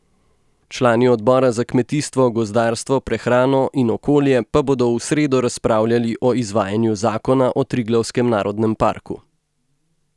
Člani odbora za kmetijstvo, gozdarstvo, prehrano in okolje pa bodo v sredo razpravljali o izvajanju zakona o Triglavskem narodnem parku.